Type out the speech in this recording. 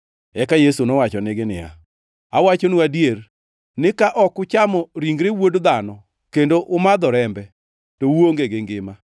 Eka Yesu nowachonegi niya, “Awachonu adier, ni ka ok uchamo ringre Wuod Dhano kendo umadho rembe, to uonge gi ngima.